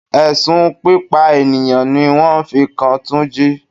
Ẹ̀sùn pípa ènìyàn ní wọ́n fi kan túnjí.